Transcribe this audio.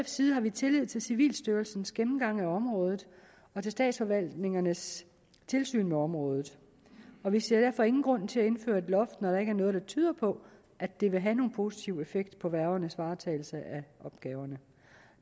side har vi tillid til civilstyrelsens gennemgang af området og til statsforvaltningernes tilsyn med området og vi ser derfor ingen grund til at indføre et loft når der ikke noget der tyder på at det vil have nogen positiv effekt på værgernes varetagelse af opgaverne